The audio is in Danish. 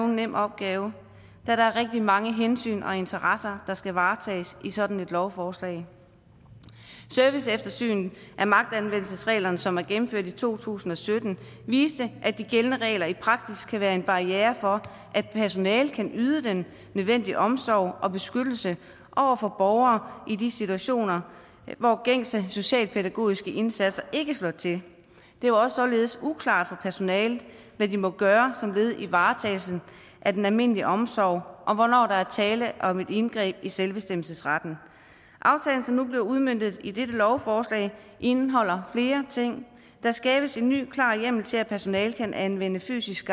nem opgave da der er rigtig mange hensyn og interesser der skal varetages i sådan et lovforslag serviceeftersynet af magtanvendelsesreglerne som er gennemført i to tusind og sytten viste at de gældende regler i praksis kan være en barriere for at personalet kan yde den nødvendige omsorg og beskyttelse over for borgere i de situationer hvor gængse socialpædagogiske indsatser ikke slår til det var således uklart for personalet hvad de må gøre som led i varetagelsen af den almindelige omsorg og hvornår der er tale om et indgreb i selvbestemmelsesretten aftalen som nu bliver udmøntet i dette lovforslag indeholder flere ting der skabes en ny klar hjemmel til at personalet kan anvende fysisk